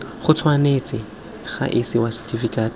go tshwanetse ga isiwa setifikeiti